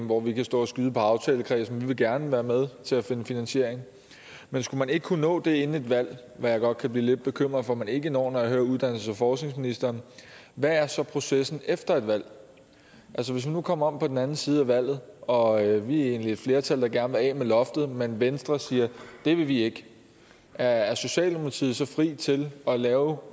hvor vi kan stå og skyde på aftalenkredsen vi vil gerne være med til at finde finansiering men skulle man ikke kunne nå det inden et valg hvad jeg godt kunne blive lidt bekymret for man ikke når når jeg hører uddannelses og forskningsministeren hvad er så processen efter et valg hvis vi nu kommer om på den anden side af valget og vi egentlig er et flertal der gerne vil af med loftet men venstre siger at det vil de ikke er er socialdemokratiet så fri til at lave